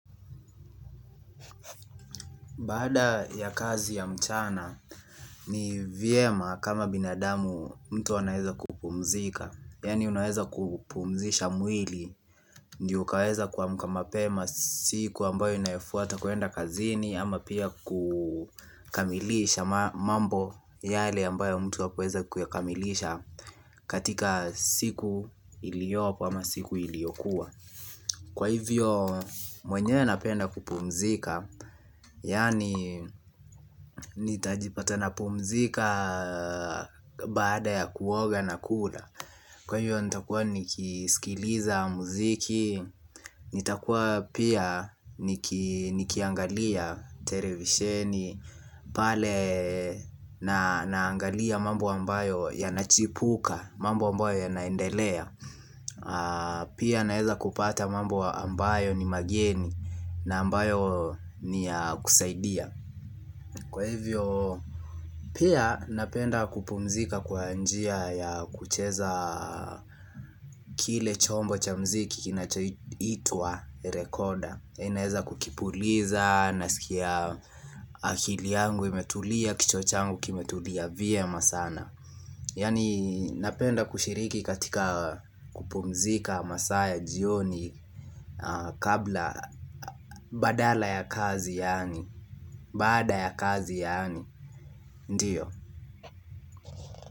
Baada ya kazi ya mchana ni vyema kama binadamu mtu anaweza kupumzika yaani unaweza kupumzisha mwili ndiyoukaweza kuamka mape masiku ambayo inayofuata kwenda kazini ama pia kukamilisha mambo yale ambayo mtu hakuweza kuyakamilisha katika siku iliyopo ama siku iliyokua kwa hivyo mwenyewe napenda kupumzika yaani nitajipata na pumzika baada ya kuoga na kula kwa hiyo nitakuwa niki sikiliza muziki nitakuwa pia nikiangalia televisheni pale naangalia mambo ambayo ya nachipuka mambo ambayo ya naendelea pia naeza kupata mambo ambayo ni mageni na ambayo niya kusaidia kwa hivyo pia napenda kupumzika kwa njia ya kucheza kile chombo cha muziki kinacho itwa rekoda naeza kukipuliza na sikia akili yangu imetulia kichwa changu kimetulia vyema sana yaani napenda kushiriki katika kupumzika masaaya jioni kabla badala ya kazi yaani baada ya kazi yaani, ndiyo.